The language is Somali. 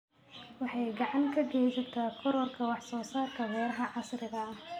Waxay gacan ka geysataa kororka wax soo saarka beeraha casriga ah.